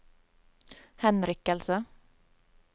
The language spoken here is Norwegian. henrykkelse